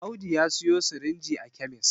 Audu ya siyo sirinji a kemis